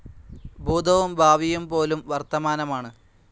ഭൂതവും ഭാവിയും പോലും വർത്തമാനമാണ്.